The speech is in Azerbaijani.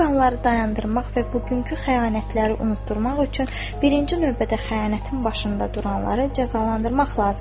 Bu qanları dayandırmaq və bugünkü xəyanətləri unutdurmaq üçün birinci növbədə xəyanətin başında duranları cəzalandırmaq lazımdır.